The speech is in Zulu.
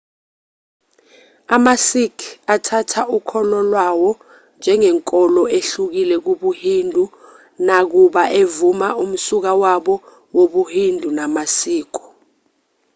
amasikh athatha ukholo lwawo njengenkolo ehlukile kubuhindu nakuba evuma umsuka wabo wobuhindu namasiko